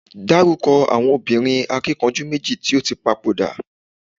daruko àwọn obìnrin akikanju meji ti o ti papoda